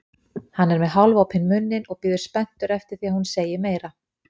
Hann er með hálfopinn munninn og bíður spenntur eftir því að hún segi meira.